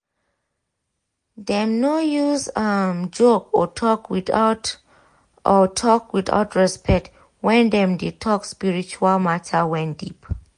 dem no use um joke or talk without or talk without respect when dem de talk spiritual matter wen deep